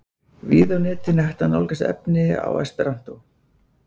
Víða á netinu er hægt að nálgast efni á esperantó.